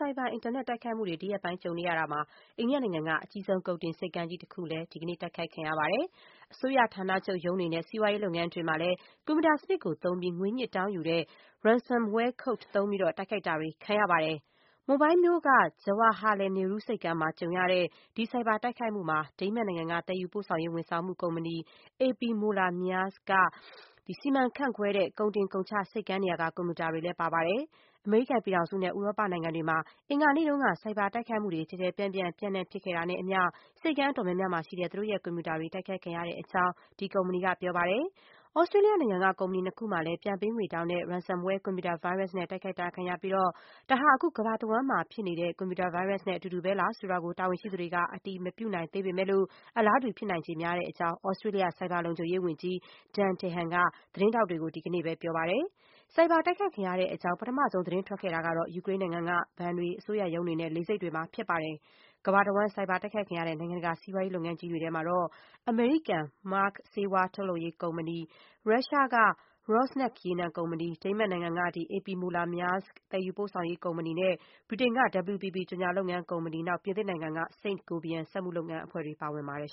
ိုက်ဘာအင်တာနက် တိုက်ခိုက်မှုတွေ ဒီရက်ပိုင်းကြုံနေရတာမှာ အိန္ဒိယနိုင်ငံက အကြီးဆုံး ကုန်တင်ဆိပ်ကမ်းတခုမှာလည်း ဒီကနေ့ တိုက်ခိုက်ခံရပါတယ်။ အစိုးရဌာနချုပ်ရုံးတွေနဲ့ စီးပွားရေးလုပ်ငန်းတွေမှာလည်း ကွန်ပျူတာစနစ်ကိုသုံးပြီး ငွေညှစ်တောင်းယူတဲ့ ransomware code သုံးပြီး တိုက်ခိုက်တာတွေ ခံရပါတယ်။ မွန်ဘိုင်းမြို့က Jawaharlal Nehru ဆိပ်ကမ်းမှာ ကြုံရတဲ့ ဒီဆိုက်ဘာ တိုက်ခိုက်မှုမှာ ဒိန်းမတ်နိုင်ငံက သယ်ယူပို့ဆောင်ရေး ဝန်ဆောင်မှုကုမ္ပဏီ A.P. Moller-Maersk က စီမံခန့်ခွဲတဲ့ ကုန်တင်ကုန်ချ ဆိပ်ကမ်းနေရာက ကွန်ပျူတာတွေလည်း ပါပါတယ်။ အမေရိကန်ပြည်ထောင်စုနဲ့ ဥရောပနိုင်ငံတွေမှာ အင်္ဂါနေ့က ဆိုက်ဘာတိုက်ခိုက်မှုတွေ ကျယ်ကျယ်ပြန့်ပြန့် ပျံ့နှံ့ဖြစ်ခဲ့တာနဲ့အမျှ ဆိပ်ကမ်းအတော်များများမှာရှိတဲ့ သူတို့ရဲ့ ကွန်ပျူတာတွေ တိုက်ခိုက်ခံရတဲ့အကြောင်း A.P. Moller-Maersk က ပြောပါတယ်။ သြစတြေးလျနိုင်ငံက ကုမ္ပဏီနှစ်ခုမှာလည်း ပြန်ပေးငွေတောင်းတဲ့ ransomware ကွန်ပျူတာဗိုင်းရပ်စ်နဲ့ တိုက်ခိုက်တာခံရပြီး ဒါဟာ အခု ကမ္ဘာတဝှမ်းမှာ တိုက်ခိုက်ခံနေရတဲ့ ကွန်ပျူတာဗိုင်းရပ်စ်နဲ့ အတူတူပဲလား ဆိုတာကို တာဝန်ရှိသူတွေက အတည်မပြုနိုင်သေးပေမဲ့လို့၊ အလားတူ ဖြစ်နိုင်ချေများတဲ့အကြောင်း သြစတြေးလျ ဆိုက်ဘာလုံခြုံရေးဝန်ကြီး Dan Tehan က သတင်းထောက်တွေကို ဒီကနေ့ ပြောပါတယ်။ ဆိုက်ဘာ တိုက်ခိုက်ခံရတဲ့အကြောင်း ပထမဆုံး သတင်းထွက်ခဲ့တာကတော့ ယူကရိန်းနိုင်ငံက ဘဏ်တွေ၊ အစိုးရရုံးတွေနဲ့ လေဆိပ်တွေမှာဖြစ်ပါတယ်။ ကမ္ဘာတဝှမ်း ဆိုက်ဘာတိုက်ခိုက်ခံရတဲ့ နိုင်ငံတကာ စီးပွားရေး လုပ်ငန်းကြီးတွေထဲမှာတော့ အမေရိကန် Merck ဆေးဝါးထုတ်လုပ်ရေးကုမ္ပဏီ၊ ရုရှားက Rosneft ရေနံကုမ္ပဏီ၊ ဒိန်းမတ်နိုင်ငံက A.P. Moller-Maersk သယ်ယူပို့ဆောင်ရေး ကုမ္ပဏီ၊ ဗြိတိန်က WPP ကြော်ညာ လုပ်ငန်းကုမ္ပဏီ နဲ့ ပြင်သစ်နိုင်ငံက Saint-Gobain စက်မှုလုပ်ငန်း အဖွဲ့တွေ ပါဝင်ပါတယ်